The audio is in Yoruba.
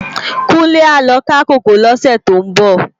Kunle á lò ká kókòó lòsè tó n bò